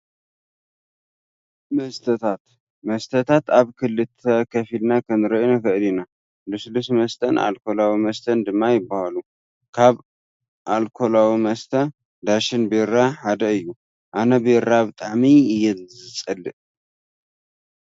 መስተታት፦ መስታታት ኣብ ክልተ ከፊልና ክንሪኦ ንክእል ኢና ። ልስሉስ መስተን ኣርኮላዊ መስተን ድማ ይበሃሉ። ካብ ኣርኮላዊ መስተ ዳሽን ቢራ ሓደ እዩ። ኣነ ቢራ ብጣዕሚ እየ ዝፅልእ!